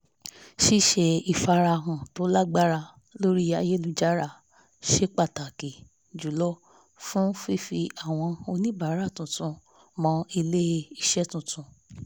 ṣíṣe ìfarahàn to lágbára lórí ayélujára ṣe pàtàkì jùlọ fún fífi àwọn oníbàárà tuntun mọ ilé-iṣẹ́ tuntun